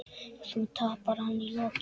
Þó tapar hann í lokin.